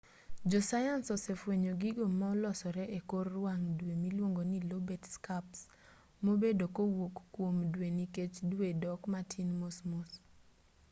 josayans osefwenyo gigo ma-olosore ekor wang' dwe miluongo ni lobate scarps ma-obedo kowuok kuom dwe nikech dwe dok matin mosmos